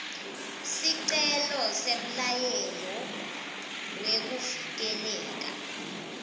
sicelo semyalelo wekuvikeleka